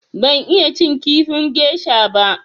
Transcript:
Ban iya cin kifin gesha ba.